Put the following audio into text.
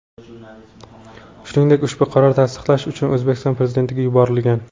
Shuningdek, ushbu qaror tasdiqlash uchun O‘zbekiston Prezidentiga yuborilgan.